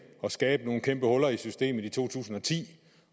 at skabe nogle kæmpe huller i systemet i to tusind og ti